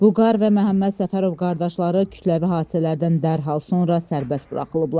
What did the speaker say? Vüqar və Məhəmməd Səfərov qardaşları kütləvi hadisələrdən dərhal sonra sərbəst buraxılıblar.